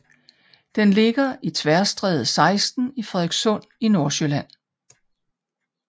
Den ligger på Tværstræde 16 i Frederikssund i Nordsjælland